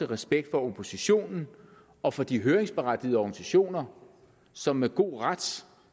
respekt for oppositionen og for de høringsberettigede organisationer som med god ret